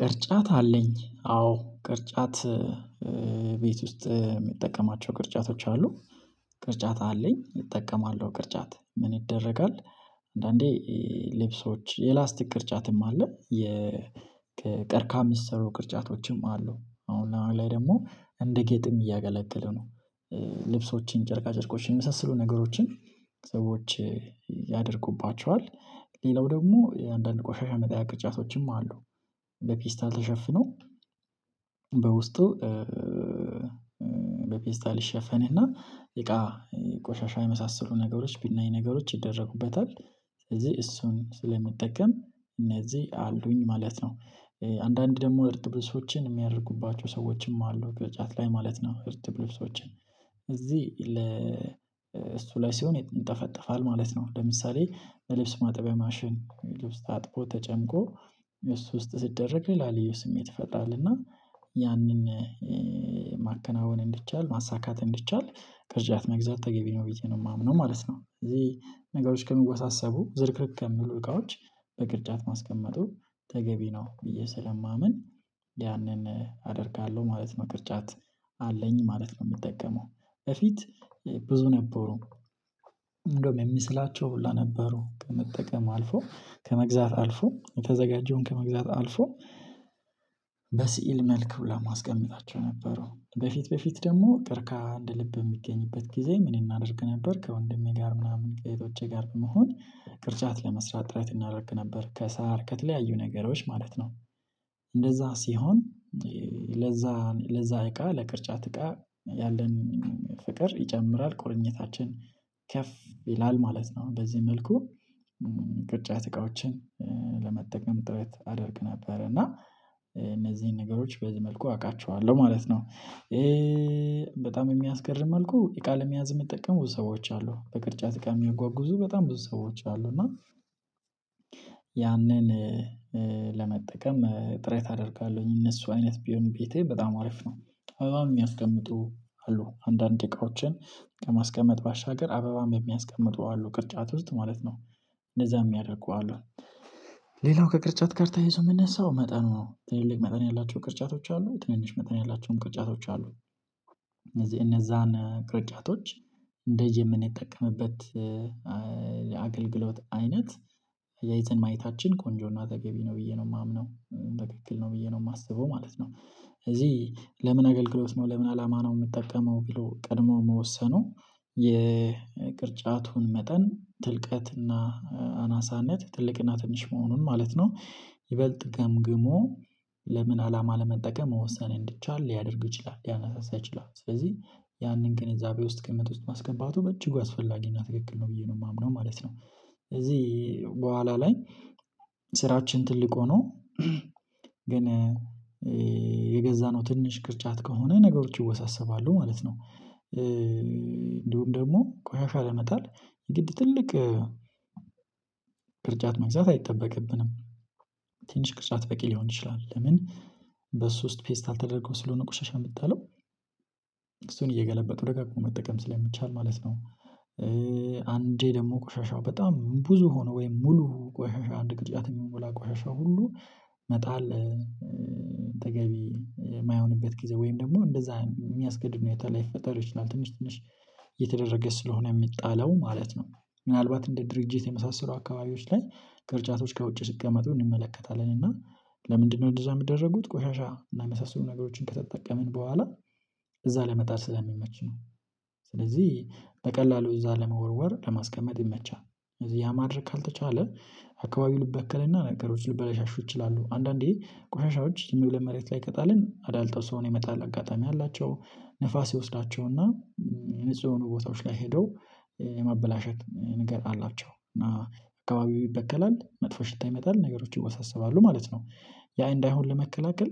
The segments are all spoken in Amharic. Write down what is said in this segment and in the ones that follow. ቅርጫት አለኝ አዎ ቅርጫት ቤት ውስጥ የምጠቀማቸው ቅርጫቶች አሉ። ቅርጫት አለኝ እጠቀማለሁ ቅርጫት ምን ይደረጋል? አንዳንዴ ልብሶች የላስቲክ ቅርጫትም አለ። ከቀርካም የሚሰሩ ቅርጫቶችም አሉ አሁን ለአሁን ላይ ደግሞ እንደ ጌጥም እያገለገለ ነው። ልብሶችን ጨርቃ ጨርቆችን የመሳሰሉ ነገሮችን ሰዎች ያደርጉባቸዋል። ሌላው ደግሞ የአንዳንድ ቆሻሻ መጣያ ቅጫቶችም አሉ። በፌስታል ተሸፍኖ በውስጡ በፌስታል ይሸፈንና እቃ ቆሻሻ የመሳሰሉ ነገሮች ብናኝ ነገሮች ይደረጉበታል። ስለዚህ እሱን ስለምጠቀም እነዚህ አሉኝ ማለት ነው። አንዳንድ ደግሞ እርጥብ ልብሶችን የሚያደርጉባቸው ሰዎችም አሉ በቅርጫት ላይ ማለት ነው። እርጥብ ልብሶችን እዚህ ለ እሱ ላይ ሲሆን ይንጠፋጠፋል ማለት ነው። ለምሳሌ ልብስ ማጠቢያ ማሽን ልብስ ታጥቦ ተጨምቆ እሱ ውስጥ ሲደረግ ስሜት ይፈጥራል። እና ያንን ማከናወን እንዲቻል ማሳካት እንድቻል ቅርጫት መግዛት ተገቢ ነው ብዬ ነው የማምነው ማለት ነው። እዚህ ነገሮች ከሚወሳሰቡ ዝርክርክ ከሚሉ እቃዎች በቅርጫት ማስቀመጡ ተገቢ ነው ብዬ ስለማምን ያንን አደርጋለሁ ማለት ነው። ቅርጫት አለኝ ማለት ነው የምጠቀመው በፊት ብዙ ነበሩ። እንደውም የምስላቸው ሁላ ነበሩ ከመጠቀም አልፎ ከመግዛት አልፎ የተዘጋጀውን ከመግዛት አልፎ በስዕል መልኩ ለማስቀምጣቸው ነበሩ። በፊት በፊት ደግሞ ቀርካሃ እንደ ልብ የሚገኝበት ጊዜ ምን እናደርግ ነበር? ከወንድሜ ጋር ምናምን ከህቶቼ ጋር በመሆን ቅርጫት ለመስራት ጥረት እናደርግ ነበር ከሳር ከተለያዩ ነገሮች ማለት ነው። እንደዛ ሲሆን ለዛ ለዛ እቃ ለቅርጫት እቃ ያለንን ፍቅር ይጨምራል ቁርኝታችን ከፍ ይላል ማለት ነው። በዚህ መልኩ ቅርጫት እቃዎችን ለመጠቀም ጥረት አደርግ ነበር እና እነዚህን ነገሮች በዚህ መልኩ አውቃቸዋለሁ ማለት ነው። በጣም የሚያስገርም መልኩ የቃል መያዝ የሚጠቀሙ ብዙ ሰዎች አሉ በቅርጫት እቃ የሚያጓጉዙ በጣም ብዙ ሰዎች አሉ። እና ያንን ለመጠቀም ጥረት አደርጋለሁኝ እነሱ አይነት ቢሆን ቤቴ በጣም አሪፍ ነው። አበባም የሚያስቀምጡ አሉ አንዳንድ እቃዎችን ከማስቀመጥ ባሻገር አበባም የሚያስቀምጡ አሉ ቅርጫት ውስጥ ማለት ነው። እንደዛም ሚያደርጉ አሉ። ሌላው ከቅርጫት ጋር ተያይዞ የሚነሳው መጠኑ ትልልቅ መጠን ያላቸው ቅርጫቶች አሉ ትንንሽ መጠን ያላቸውም ቅርጫቶች አሉ። እነዛን ቅርጫቶች እንደዚህ የምንጠቀምበት የአገልግሎት አይነት አያይዘን ማየታችን ቆንጆና ተገቢ ነው ብዬ ነው የማምነው ትክክል ነው ብዬ ነው የማስበው ማለት ነው። እዚህ ለምን አገልግሎት ነው ለምን አላማ ነው የምትጠቀመው? ብሎ ቀድሞ መወሰኑ የቅርጫቱን መጠን ትልቀትና አናሳነት ትልቅና ትንሽ መሆኑን ማለት ነው። ይበልጥ ገምግሞ ለምን አላማ ለመጠቀም መወሰን እንዲቻል ሊያደርግ ይችላል ሊያነሳሳ ይችላል። ስለዚህ ያንን ግንዛቤ ውስጥ ግምት ውስጥ ማስገባቱ በእጅጉ አስፈላጊና ትክክል ነው ብዬ ነው የማምነው ማለት ነው። ስለዚህ በኋላ ላይ ስራችን ትልቅ ሆኖ ግን የገዛነው ትንሽ ቅርጫት ከሆነ ነገሮች ይወሳሰባሉ ማለት ነው። እንዲሁም ደግሞ ቆሻሻ ላመጣል የግድ ትልቅ ቅርጫት መግዛት አይጠበቅብንም። ትንሽ ቅርጫት በቂ ሊሆን ይችላል። ለምን በሱ ውስጥ ፌስታል ተደርጎ ስለሆነ ቁሻሻ የምጣለው እሱን እየገለበጡ ደጋግሞ መጠቀም ስለሚቻል ማለት ነው። አንዴ ደግሞ ቆሻሻው በጣም ብዙ ሆኖ ወይም ሙሉ ቆሻሻ አንድ ክርጫት የሚሞላ ቆሻሻ ሁሉ መጣል ተገቢ የማይሆንበት ጊዜ ወይም ደግሞ እንደዛ የሚያስገድድ ሁኔታ ላይፈጠር ትንሽ ትንሽ የተደረገ ስለሆነ የሚጣለው ማለት ነው። ምናልባት እንደ ድርጅት የመሳሰሉ አካባቢዎች ላይ ቅርጫቶች ከውጪ ሲቀመጡ እንመለከታለን። እና ለምንድነው እንደዛ የሚደረጉት ቆሻሻ እና የመሳሰሉ ነገሮችን ከተጠቀምን በኋላ እዛ ላይ ለመጣል ስለሚመች ነው። ስለዚህ በቀላሉ እዛ ለመወርወር ለማስቀመጥ ይመቻል። እዚህ ያ ማድረግ ካልተቻለ አካባቢው ሊበከልና ነገሮች ሊበለሻሹ ይችላሉ። አንዳንዴ ቆሻሻዎች ዝም ብለን መሬት ላይ ከቀጣለን አዳልጦ ሰውን የመጣል አጋጣሚ አላቸው። ንፋስ ይወስዳቸውና ንጹህ ሆኖ ቦታዎች ላይ ሄደው የማበላሸት ነገር አላቸው። እና አካባቢው ይበከላል መጥፎ ሽታ ይመጣል ነገሮች ይወሳሰባሉ ማለት ነው። ያ እንዳይሆን ለመከላከል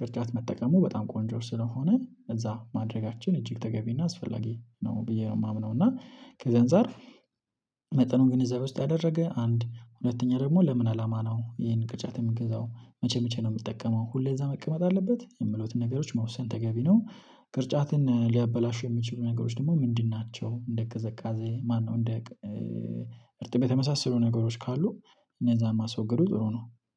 ቅርጫት መጠቀሙ በጣም ቆንጆ ስለሆነ እዛ ማድረጋችን እጅግ ተገቢና አስፈላጊ ነው ብዬ ነው የማምነው። እና ከዛ አንፃር መጠኑን ግንዛቤ ውስጥ ያደረገ አንድ ሁለተኛ ደግሞ ለምን አላማ ነው? ይሄንን ቅርጫት የምንገዛው መቼ መቼ ነው የምጠቀመው? ሁሌ እዛ መቀመጥ አለበት የሚሉትን ነገሮች መወሰን ተገቢ ነው። ቅርጫትን ሊያበላሹ የሚችሉ ነገሮች ደግሞ ምንድን ናቸው? እንደ ቅዘቃዜ ማነው እንደ እርጥበት የመሳሰሉ ነገሮች ካሉ እነዛን ማስወገዱ ጥሩ ነው።